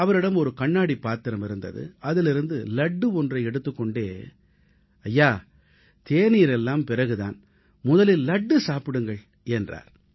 அவரிடம் இருந்த கண்ணாடிப் பாத்திரத்தில் வைக்கப்பட்டிருந்த லட்டு ஒன்றை எடுத்து தேநீர் தயாராவதற்குள் முதலில் லட்டு சாப்பிடுங்கள் என்றார்